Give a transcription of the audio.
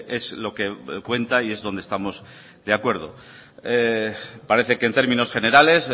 es lo que cuenta y es donde estamos de acuerdo parece que en términos generales